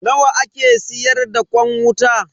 Nawa ake siyar da kwan wuta?